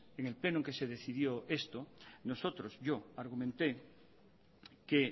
en el pleno en que se decidió esto yo argumenté que